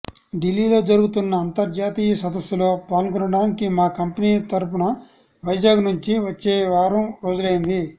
ఢిల్లీలో జరుగుతున్న అంతర్జాతీయ సదస్సులో పాల్గొనడానికి మా కంపెనీ తరపున వైజాగ్ నుంచి వచ్చి వారం రోజులైంది